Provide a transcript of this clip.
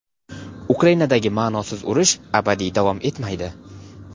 Ukrainadagi "ma’nosiz urush" abadiy davom etmaydi.